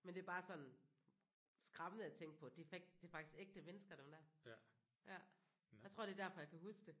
Men det er bare sådan skræmmende at tænke på det det er faktisk ægte mennesker dem der jeg tror det er derfor jeg kan huske det